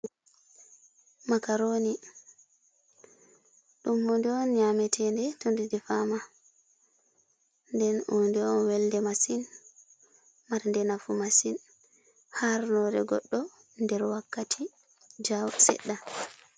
Makarooni ɗum huunde on nyametee nde, to nde defaama nden huunde on welɗe masin, marɗe nafu masin harnoore goɗɗo nder wakkati jaawa seɗɗa.